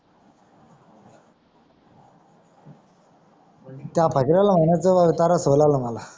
त्या फकऱ्याला मानायचं तरास होऊलाल मला.